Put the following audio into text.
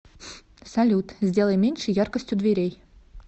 салют сделай меньше яркость у дверей